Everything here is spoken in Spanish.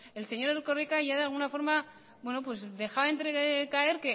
el consejero erkoreka ya de alguna forma dejaba caer